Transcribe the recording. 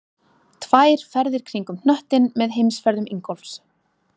Tvær ferðir kringum hnöttinn með heimsferðum Ingólfs